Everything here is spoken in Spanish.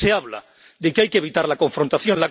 También se habla de que hay que evitar la confrontación.